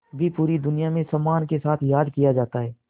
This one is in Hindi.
भी पूरी दुनिया में सम्मान के साथ याद किया जाता है